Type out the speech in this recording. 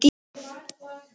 Og sór enn.